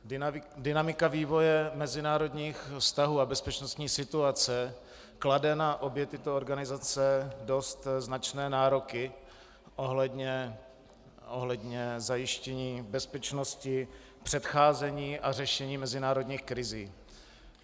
Dynamika vývoje mezinárodních vztahů a bezpečnostní situace klade na obě tyto organizace dost značné nároky ohledně zajištění bezpečnosti, předcházení a řešení mezinárodních krizí.